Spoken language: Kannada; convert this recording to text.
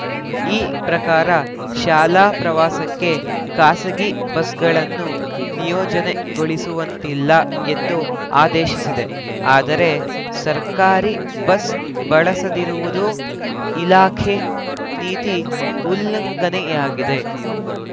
ಈ ಪ್ರಕಾರ ಶಾಲಾ ಪ್ರವಾಸಕ್ಕೆ ಖಾಸಗಿ ಬಸ್‌ಗಳನ್ನು ನಿಯೋಜನೆಗೊಳಿಸುವಂತಿಲ್ಲ ಎಂದು ಆದೇಶಿಸಿದೆ ಆದರೆ ಸರ್ಕಾರಿ ಬಸ್‌ ಬಳಸದಿರುವುದು ಇಲಾಖೆ ನೀತಿ ಉಲ್ಲಂಘನೆಯಾಗಿದೆ